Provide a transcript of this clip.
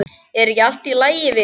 Er ekki allt í lagi vinur?